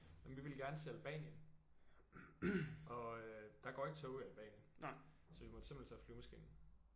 Men vi ville gerne til Albanien og øh der ikke tog i Albanien. Så vi måtte simpelthen tage flyvemaskinen